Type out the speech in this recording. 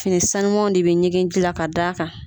Fini sanumaw de bɛ ɲigin ji la ka d'a kan.